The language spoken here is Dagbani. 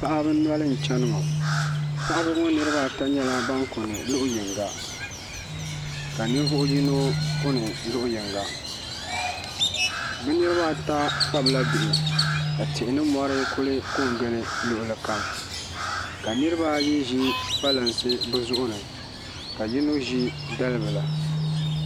Paɣaba noli n chɛni ŋɔ paɣaba ŋɔ niraba ata nyɛla ban kuni luɣu yinga ka ninvuɣu yino kuni luɣu yinga bi niraba ata kpabila bihi ka tihi ni mɔri ku kɔ n gili luɣuli kam ka niraba ayi ʒi kpalansi bi zuɣu ni ka yino ʒi dalibila